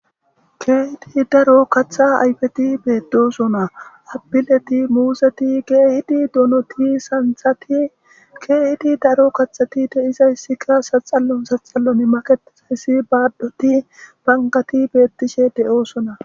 Keehidi daro katha ayfeti beeddosona apileti muuseti keehidi donoti santhati keehidi daro kathati deizayssikka saxallon saxallon maketizayssi baaddoti bangati beettishe de'oosona.